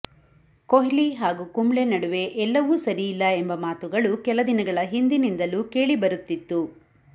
ಕೊಹ್ಲಿ ಹಾಗೂ ಕುಂಬ್ಳೆ ನಡುವೆ ಎಲ್ಲವೂ ಸರಿಯಿಲ್ಲ ಎಂಬ ಮಾತುಗಳು ಕೆಲದಿನಗಳ ಹಿಂದಿನಿಂದಲೂ ಕೇಳಿ ಬರುತ್ತಿತ್ತು